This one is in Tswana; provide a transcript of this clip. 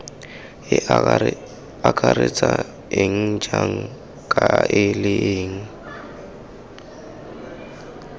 akaretsang eng jang kae leng